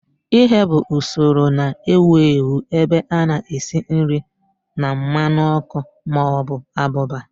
Ighe bụ usoro na-ewu ewu ebe a na-esi nri na mmanụ ọkụ ma ọ bụ abụba